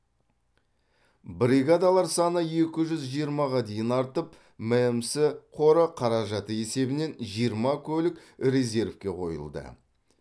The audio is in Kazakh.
бригадалар саны екі жүз жиырмаға дейін артып мәмс қоры қаражаты есебінен жиырма көлік резервке қойылды